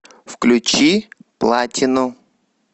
включи платину